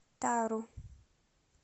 тару